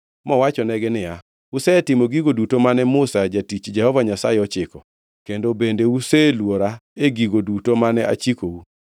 mowachonegi niya, “Usetimo gigo duto mane Musa jatich Jehova Nyasaye ochiko, kendo bende useluora e gigo duto mane achikou.